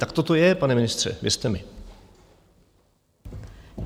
Takto to je, pane ministře, věřte mi.